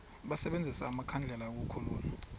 basebenzise amakhandlela ukukhulula